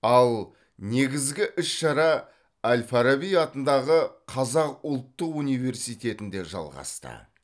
ал негізгі іс шара әл фараби атындағы қазақ ұлттық университетінде жалғасты